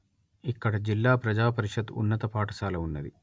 ఇక్కడ జిల్లా ప్రజా పరిషత్ ఉన్నత పాఠశాల ఉన్నది